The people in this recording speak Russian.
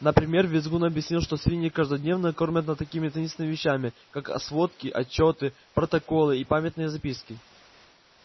например визгун объяснил что свиньи каждодневно кормят над такими таинственными вещами как сводки отчёты протоколы и памятные записки